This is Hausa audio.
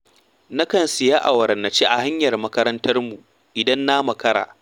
Na kan sayi awara na ci a hanyar makarantarmu idan na makara.